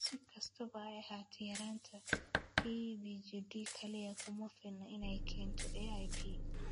Si kastaba ha ahaatee, yaraanta PBGD kaliya kuma filna inay keento AIP.